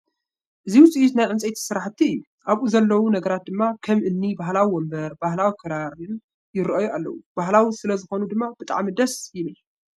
እዚ ውፅኢት ናይ ዕንፀይቲ ስራሕቲ እዩ ኣብኡ ዘለዉ ነገራት ድማ ከም እኒ ባህላዊ ወንበር፣ ባህላዊ ክራርን ይረኣዩ ኣለዉ፡ ባህላዊ ስለዝኾኑ ድማ ብጣዕሚ ደስ ይብል ።